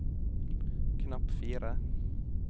knapp fire